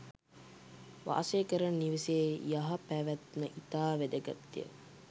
වාසය කරන නිවසේ යහ පැවැත්ම ඉතා වැදගත්ය.